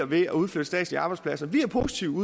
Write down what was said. ved at udflytte statslige arbejdspladser vi er positive